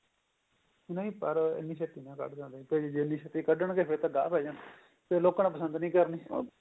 ਨਹੀ ਪਰ ਇੰਨੀ ਛੇਤੀ ਨੀ ਕੱਡਦੇ ਹੈਗੇ ਜੇ ਇੰਨੀ ਛੇਤੀ ਕੱਢਣ ਗੇ ਫ਼ੇਰ ਤਾਂ ਗਾਹ ਪਾਈ ਜਾਣਾ ਫ਼ੇਰ ਲੋਕਾਂ ਨੇ ਪਸੰਦ ਨੀ ਕਰਨੀ